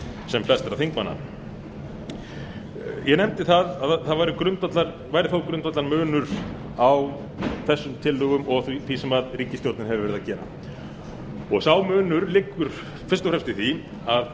sem flestra þingmanna ég nefndi að það væri þó grundvallarmunur á þessum tillögum og því sem ríkisstjórnin hefur verið að gera sá munur liggur fyrst og fremst í því að